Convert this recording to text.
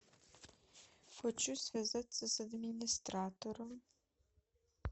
хочу связаться с администратором